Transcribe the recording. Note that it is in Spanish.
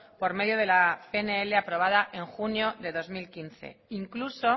por medio de la pnl aprobada en junio del dos mil quince incluso